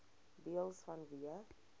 deels vanweë